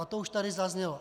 A to už tady zaznělo.